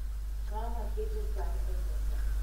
Mama keto san e mesa